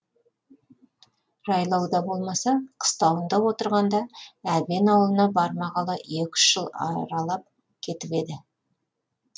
жайлауда болмаса қыстауында отырғанда әбен ауылына бармағалы екі үш жыл аралап кетіп еді